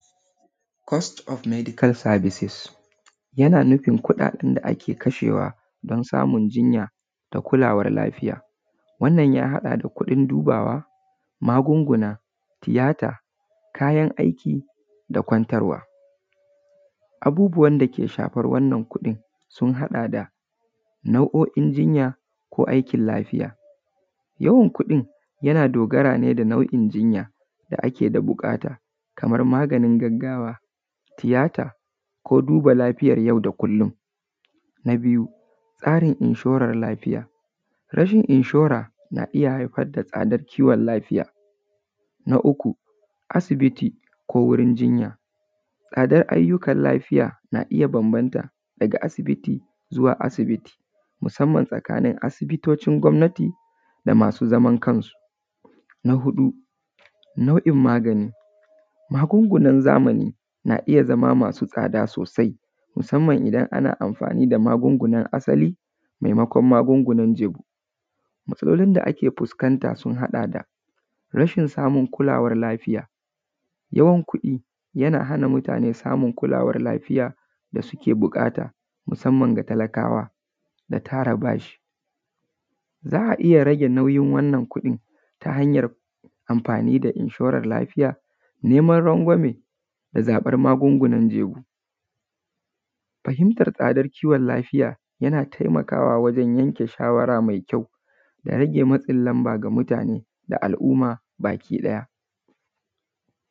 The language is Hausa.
Cost of medical services, yana nufin kuɗaɗen da ake kashewa don samun jinya da kulawar lafiya, wannan ya haɗa da kuɗin dubawa, magunguna da tiyata kayan aiki da kwantarwa. Abubuwan dake shafar wannan kuɗin sun haɗa da nau’o’in jinya ko aikin lafiya. Yawan kuɗin yana dogara ne da nau’in jinya da ake da buƙata, kamar maganin gaggawa, tiyata ko duba lafiyar yau da kullum. Na biyu, tsarin inshoran lafiya, rashin inshora na iya haifar da tsadar kiwon lafiya. Na uku, asibiti ko wurin jinya, tsadar ayyukan lafiya na iya bambanta daga asibiti zuwa asibiti, musamman tsakanin asibitocin gwamnati da masu zaman kansu. Na huɗu nau’in magani: Magungunan zamani na iya zama masu tsada sosai, musamman idan ana amfani da magungunan asali maimakon magungunan jebu. Matsalolin da ake fuskanta sun haɗa da; rashin samun kulawan lafiya, rashin kuɗi yana hana mutane samun kulawar lafiya da suke buƙata musamman ga talakawa da tara bashi. Za a iya rage nauyin wannan kuɗin ta hanyar amfani da inshoran lafiya, neman rangwame da zaɓan magungunan jebu. Fahimtar tsadar kiwon lafiya yana taimakawa wajen yanke shawara mai kyau da rage matsin lamba ga mutane da al’umma baki ɗaya.